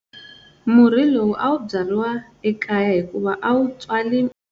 Murhi lowu a wu byariwi ekaya hikuva a wu tswali.